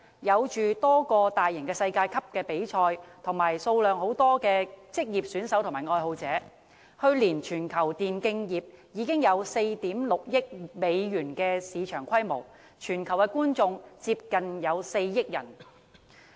現時，全球有多個大型世界級比賽項目，以及數目龐大的職業選手和愛好者，去年全球電競業的市場規模已達4億 6,000 萬美元，觀眾接近4億人。